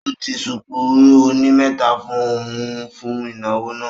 Ó di ṣùkú oní mẹ́ta fún un fún ìnáwó náà